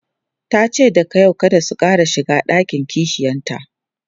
tace daga yau kada su Ƙara shiga ɗakin kishiyanta